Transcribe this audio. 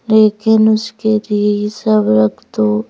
लेकिन उसके लिए सब रख दो।